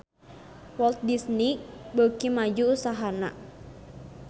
Walt Disney beuki maju usahana